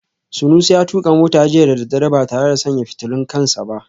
Sunusi ya tuka mota jiya da daddare ba tare da sanya fitulun kan sa ba